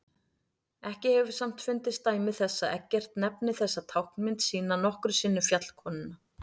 Ekki hefur samt fundist dæmi þess að Eggert nefni þessa táknmynd sína nokkru sinni fjallkonuna.